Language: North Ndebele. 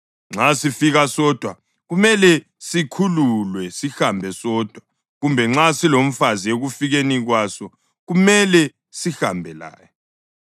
Nxa sifike sodwa, kumele sikhululwe sihambe sodwa kodwa nxa silomfazi ekufikeni kwasokumele sihambe laye.